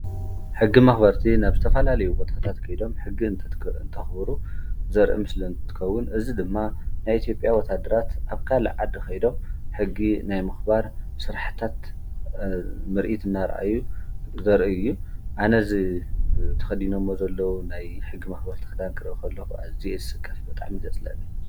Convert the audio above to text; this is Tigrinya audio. ሕጊ መኽበርቲ ናብ ዝተፋላልዩ ወትኅታት ከይዶም ሕጊ ንእንተኽብሩ ዘርእም ስለእንትከውን እዝ ድማ ናይኤቲጴያ ወታድራት ኣብካል ዓዲ ኸይዶም ሕጊ ናይ ምኽባር ሥራሕታት ምርኢት እና ርኣዩ ዘርኢ እዩ ኣነዝ ተኸዲኖእሞ ዘለዉ ናይ ሕጊ መኽበር ተኽዳን ክረኸሎዉ እዚ ስካፍ በጣም ይዘጽለኒ።